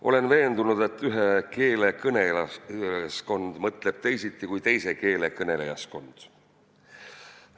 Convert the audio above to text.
Olen veendunud, et ühe keele kõnelejaskond mõtleb teisiti kui teise keele kõnelejaskond.